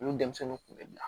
Olu denmisɛnninw kun bɛ bila